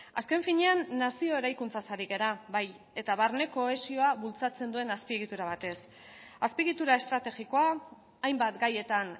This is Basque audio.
azken finean nazio eraikuntzaz ari gara bai eta barne kohesioa bultzatzen duen azpiegitura batez azpiegitura estrategikoa hainbat gaietan